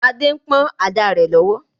Adé ń pọ̀n ada rẹ̀ lọ́wọ́